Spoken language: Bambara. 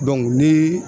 ni